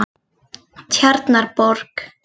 Tjarnarborg